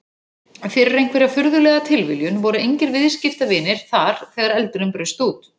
Fyrir einhverja furðulega tilviljun voru engir viðskiptavinir þar þegar eldurinn braust út.